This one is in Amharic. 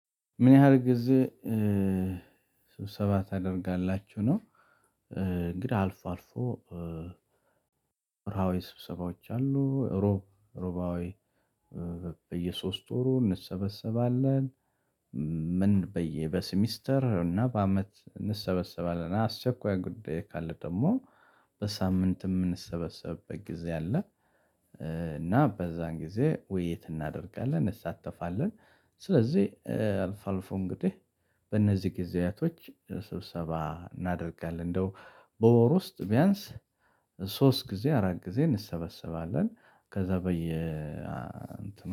ምን ያህል ጊዜ ስብሰባ ታደርጋላችሁ? ነው እንግዳ አልፎ አልፎ ራዊ ስብሰባዎች አሉ ሮብ ሮባዊ በየሶስት ወሩ እንሰበሰባለን ምን በየ በሴሚስተር እና በአመት እንሰበሰባለን አስቸኳይ ጉዳይ ካለ ደግሞ በሳምንት የምንሰበሰብበት ጊዜ አለ እና በዛን ጊዜ ውይይት እናደርጋለን እንሳተፋለን ስለዚህ አልፋ አልፎ እንግዲህ በእነዚህ ጊዜያቶች ስብሰባ እናደርጋለን እንደው በወር ውስጥ ቢያንስ ሶስት ጊዜ አራት ጊዜ እንሰበስባለን ከዛ በየ